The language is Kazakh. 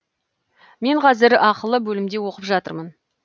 мен қазір ақылы бөлімде оқып жатырмын